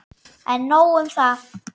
En nóg um það.